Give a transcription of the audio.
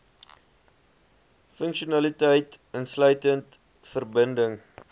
funksionaliteit insluitend verbinding